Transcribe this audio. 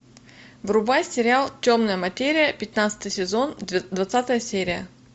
врубай сериал темная материя пятнадцатый сезон двадцатая серия